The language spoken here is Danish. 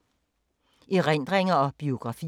Erindringer og biografier